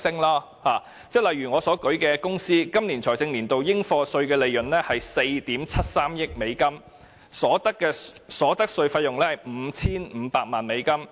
例如在我例子中的公司，它今個財政年度的應課稅利潤為4億 7,300 萬美元，所得稅費用為 5,500 萬美元。